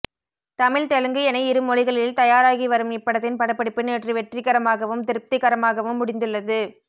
தமிழ் தெலுங்கு என இருமொழிகளில் தயாராகி வரும் இப்படத்தின் படப்பிடிப்பு நேற்று வெற்றிகரமாகவும் திருப்திகரமாகவும் முடிந்துள்ளது